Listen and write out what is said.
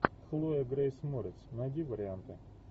хлоя грейс морец найди варианты